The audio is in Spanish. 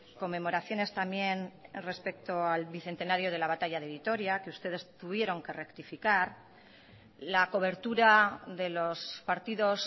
conmemoraciones también respecto al bicentenario de la batalla de vitoria que ustedes tuvieron que rectificar la cobertura de los partidos